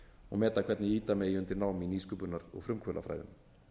og meta hvernig ýta megi undir nám í nýsköpunar og frumkvöðlafræðum